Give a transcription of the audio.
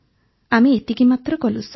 ଆମେ ଏତିକି ମାତ୍ର କଲୁ ସାର୍